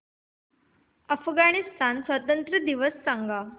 अफगाणिस्तान स्वातंत्र्य दिवस सांगा